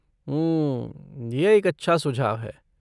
हम्म, यह एक अच्छा सुझाव है।